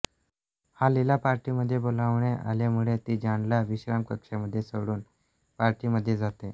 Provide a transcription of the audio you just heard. हॉलिला पार्टिमध्ये बोलवणे आल्यामुळे ती जॉनला विश्रामकक्षामध्ये सोडुन पार्टिमध्येजाते